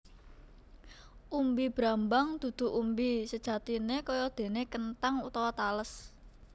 Umbi brambang dudu umbi sejati kayadéné kenthang utawa tales